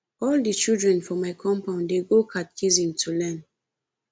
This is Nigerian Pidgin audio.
all di children for my compound dey go catechism to learn